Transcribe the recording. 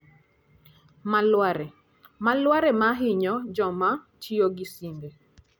Malware: Malware ma hinyo joma tiyo gi simbe.